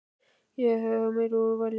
Þá hef ég úr meiru að velja.